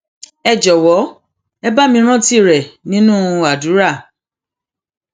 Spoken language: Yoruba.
ẹ jọwọ ẹ bá mi rántí rẹ nínú àdúrà